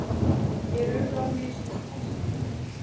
Mér urðu á mistök, sagði hún.